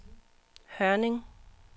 Hørning